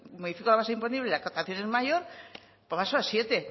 modifico la base imponible la captación es mayor póngaselo a siete